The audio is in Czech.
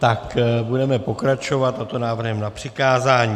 Tak budeme pokračovat, a to návrhem na přikázání.